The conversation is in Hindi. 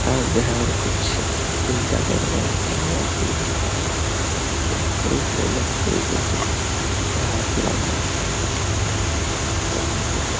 घर कुछ जगह बनता लकड़ी के घर लग रहा है। कुछ सकते है --